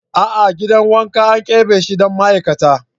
A'a gidan wanka an keɓe shi don ma'aikata.